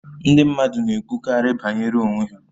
Ndị mmadụ na-ekwukarị banyere onwe ha